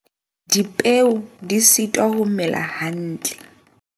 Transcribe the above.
Dipeo di sitwa ho mela hantle.